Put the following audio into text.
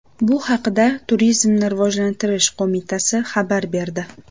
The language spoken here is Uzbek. Bu haqda Turizmni rivojlantirish qo‘mitasi xabar berdi .